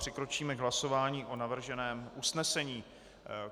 Přikročíme k hlasování o navrženém usnesení.